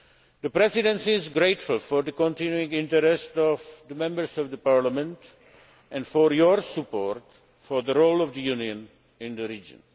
The Presidency is grateful for the continuing interest of Members of Parliament and for your support for the role of the Union in the region.